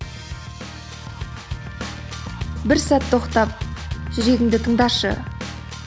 бір сәт тоқтап жүрегіңді тыңдашы